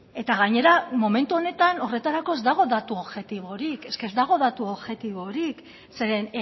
eta gainera momentu honetan horretarako ez dago datu objektiborik eske ez dago datu objektiborik zeren